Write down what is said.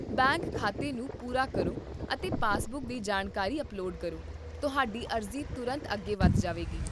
bank ਖਾਤੇ ਨੂੰ ਪੂਰਾ ਕਰੋ ਅਤੇ ਪਾਸਬੁੱਕ ਦੀ ਜਾਣਕਾਰੀ ਅਪਲੋਡ ਕਰੋ, ਤੁਹਾਡੀ ਅਰਜ਼ੀ ਤੁਰੰਤ ਅੱਗੇ ਵਧ ਜਾਵੇਗੀ